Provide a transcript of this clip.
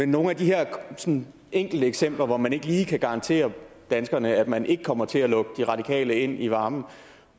nogle af de her sådan enkelte eksempler hvor man ikke lige kan garantere danskerne at man ikke kommer til at lukke de radikale ind i varmen